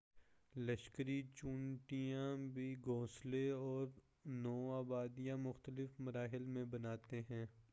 لشکری چیونٹیاں بھی گھونسلے اور نو آبادیاں مختلف مراحل میں بناتے ہیں